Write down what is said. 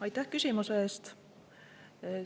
Aitäh küsimuse eest!